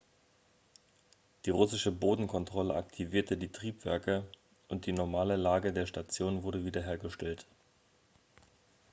die russische bodenkontrolle aktivierte die triebwerke und die normale lage der station wurde wiederhergestellt